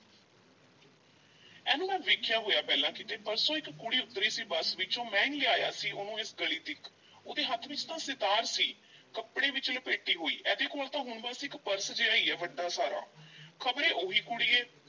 ਇਹਨੂੰ ਮੈਂ ਵੇਖਿਆ ਹੋਇਆ ਪਹਿਲਾਂ ਕਿਤੇ, ਪਰਸੋਂ ਇੱਕ ਕੁੜੀ ਉੱਤਰੀ ਸੀ ਬੱਸ ਵਿੱਚੋਂ, ਮੈਂ ਹੀ ਲਿਆਇਆ ਸੀ ਉਹਨੂੰ ਏਸ ਗਲੀ ਤੀਕ, ਉਹਦੇ ਹੱਥ ਵਿੱਚ ਤਾਂ ਸਿਤਾਰ ਸੀ ਕੱਪੜੇ ਵਿੱਚ ਲਪੇਟੀ ਹੋਈ, ਇਹਦੇ ਕੋਲ ਤਾਂ ਹੁਣ ਬੱਸ ਇੱਕ ਪਰਸ ਜਿਹਾ ਹੀ ਹੈ ਵੱਡਾ ਸਾਰਾ, ਖ਼ਬਰੇ ਉਹੀ ਕੁੜੀ ਐ,